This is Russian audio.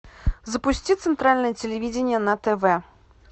запусти центральное телевидение на тв